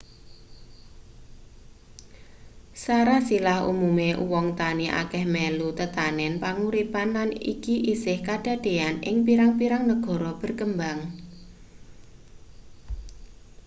sarasilah umume uwong tani akeh melu tetanen panguripan lan iki isih kedadeyan ing pirang-pirang negara berkembang